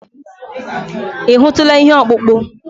Ị hụtụla ihe ọkpụkpụ?